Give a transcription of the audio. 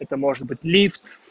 это может быть лифт